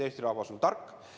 Eesti rahvas on tark.